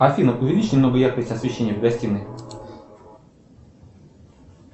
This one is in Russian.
афина увеличь немного яркость освещения в гостинной